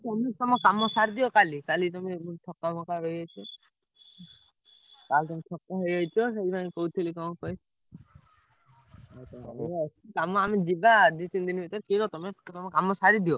ତମେ ତମ କାମ ସାରିଦିଅ କାଲି ତମେ ଥକା ଫକା ହେଇଯାଇଥିବ। କାଳେ ତମେ ଥକା ହେଇଯାଇଥିବ ସେଇଥିପାଇଁ କହୁଥେଲି କଣ କହିଲ କାମ ଆମେ ଯିବା ଦି ତିନି ଦିନ୍ ଭିତେରେ free ତମେ ତମ କାମ ସାରିଦିଅ।